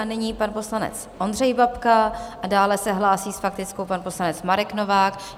A nyní pan poslanec Ondřej Babka a dále se hlásí s faktickou pan poslanec Marek Novák.